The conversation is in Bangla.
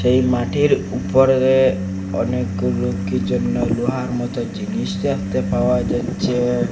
এই মাটির উপরে অনেকগুলু কি যেন লোহার মতো জিনিস দেখতে পাওয়া যাচ্চে ।